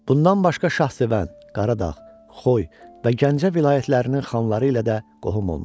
Bundan başqa Şahsevən, Qaradağ, Xoy və Gəncə vilayətlərinin xanları ilə də qohum olmuşdu.